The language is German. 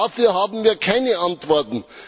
Darauf haben wir keine Antworten.